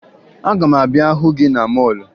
Aga m abịa hụ gị na mọọlụ